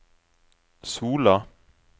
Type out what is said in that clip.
Sola